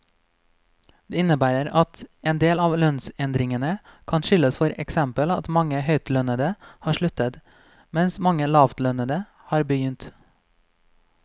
Det innebærer at endel av lønnsendringene kan skyldes for eksempel at mange høytlønnede har sluttet, mens mange lavtlønnede har begynt.